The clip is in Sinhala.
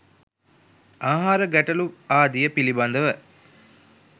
ආහාර ගැටළු ආදිය පිළිබඳව